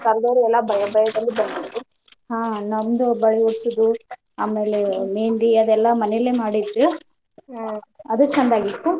ಬಂದೋರಿಗೆಲ್ಲಾ ಬಳಿ ಇಡ್ಸುದು ಆ ನಂದು ಬಳಿ ಇಡ್ಸು ಆಮೇಲೆ मेहंदी ಅವೆಲ್ಲಾ ಮನೇಲೆ ಮಾಡಿದ್ವಿ ಆದ ಚಂದ್ ಆಗಿತ್ತ.